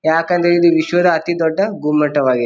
ಯಾಕಂದ್ರೆ ಇದು ವಿಶ್ವದ ಅತಿ ದೊಡ್ಡ ಗುಮ್ಮಟವಾಗಿ --